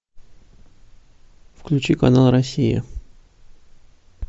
включи канал россия